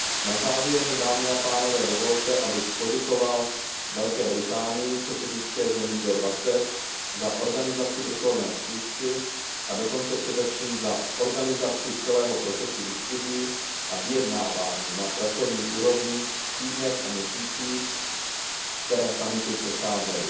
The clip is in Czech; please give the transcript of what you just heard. Na závěr mi, dámy a pánové, dovolte, abych poděkoval Velké Británii, předsednické zemi G20, za organizaci vrcholné schůzky a především za organizaci celého procesu diskusí a vyjednávání na pracovní úrovni v týdnech a měsících, které summitu předcházely.